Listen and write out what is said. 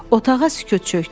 Otağa sükut çökdü.